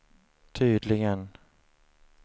tydligen